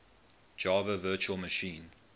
java virtual machine